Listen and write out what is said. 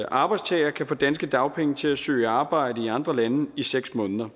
arbejdstager kan få danske dagpenge til at søge arbejde i andre lande i seks måneder